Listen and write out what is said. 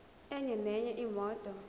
enye nenye imoto